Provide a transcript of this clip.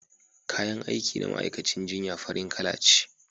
kayan aiki na ma'aikacin jinya farin Kala ce